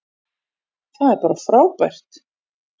Það er bara frábært.